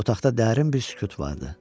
Otaqda dərin bir sükut vardı.